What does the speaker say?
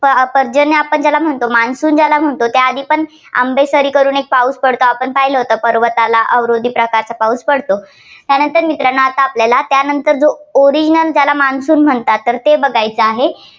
पर्जन्य आपण ज्याला म्हणतो monsoon ज्याला म्हणतो त्या आधीपण आंबेसरी करून एक पाऊस पडतो आपण पाहिलं होतं पर्वताला अवरोधी प्रकारचा पाऊस पडतो. त्यानंतर मित्रांनो आता आपल्याला त्यानंतर जो original ज्याला monsoon म्हणतात तर ते बघायचं आहे.